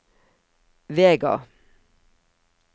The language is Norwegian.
Vega